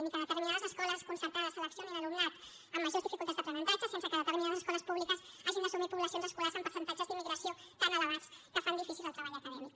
ni que determinades escoles concertades seleccionin alumnat amb majors dificultats d’aprenentatge sense que determinades escoles públiques hagin d’assumir poblacions escolars amb percentatges d’immigració tan elevats que fan difícil el treball acadèmic